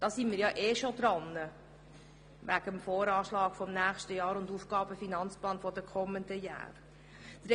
Da sind wir ohnehin schon beim Voranschlag für das nächste Jahr und dem Aufgaben-/Finanzplan der kommenden Jahre dabei.